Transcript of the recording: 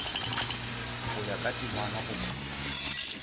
go ya ka temana goba